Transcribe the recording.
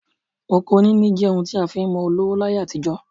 Oko níní jẹ́ ohun tí a fi ń mọ olówó láyé àtijọ́